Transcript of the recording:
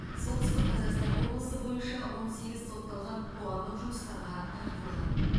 солтүстік қазақстан облысы бойынша он сегіз сотталған қоғамдық жұмыстарға тартылған